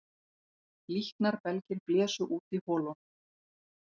Líknarbelgir blésu út í holunum